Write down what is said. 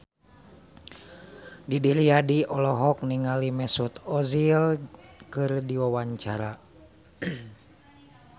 Didi Riyadi olohok ningali Mesut Ozil keur diwawancara